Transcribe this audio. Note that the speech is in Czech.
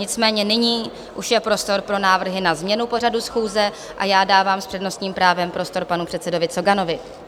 Nicméně nyní už je prostor pro návrhy na změnu pořadu schůze a já dávám s přednostním právem prostor panu předsedovi Coganovi.